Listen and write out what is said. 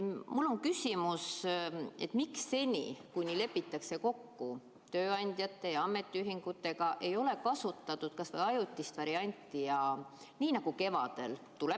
Mul ongi küsimus: miks seni, kuni lepitakse kokku tööandjate ja ametiühingutega, ei ole kasutatud kas või ajutist varianti, nii nagu tehti kevadel?